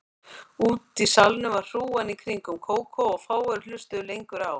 Úti í salnum var hrúgan í kringum Kókó og fáir hlustuðu lengur á